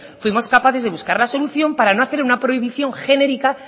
fuimos capaces de buscar la solución para no hacer una prohibición genérica